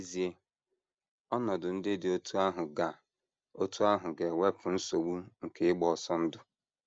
N’ezie, ọnọdụ ndị dị otú ahụ ga otú ahụ ga - ewepụ nsogbu nke ịgba ọsọ ndụ.